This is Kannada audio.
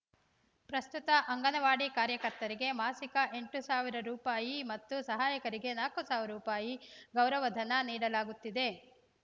ಪ್ರಸ್ತುತ ಅಂಗನವಾಡಿ ಕಾರ್ಯಕರ್ತೆಯರಿಗೆ ಮಾಸಿಕ ಎಂಟು ಸಾವಿರ ರೂಪಾಯಿ ಮತ್ತು ಸಹಾಯಕಿಯರಿಗೆ ನಾಲ್ಕು ಸಾವಿರ ರೂಪಾಯಿ ಗೌರವಧನ ನೀಡಲಾಗುತ್ತಿದೆ